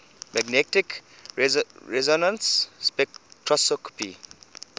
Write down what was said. magnetic resonance spectroscopy